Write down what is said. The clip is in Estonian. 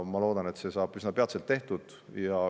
Ma loodan, et see saab üsna peatselt tehtud.